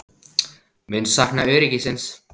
Mun sakna öryggisins.